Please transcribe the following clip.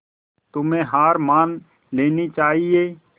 तुम्हें हार मान लेनी चाहियें